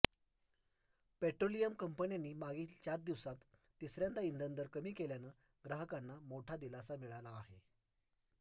petroleum कंपन्यांनी मागील चार दिवसांत तिसऱ्यांदा इंधन दर कमी केल्यानं ग्राहकांना मोठा दिलासा मिळाला आहे